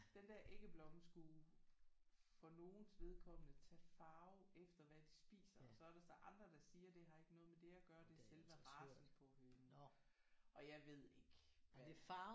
Den der æggeblomme skulle for nogens vedkommende tage farve efter hvad de spiser. Så er der så andre der siger det har ikke noget med det at gøre det er selve racen på hønen. Og jeg ved ikke hvad